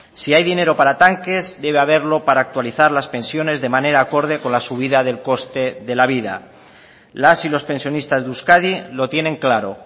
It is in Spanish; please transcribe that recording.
si hay dinero para tanques debe haberlo para actualizar las pensiones de manera acorde con la subida del coste de la vida las y los pensionistas de euskadi lo tienen claro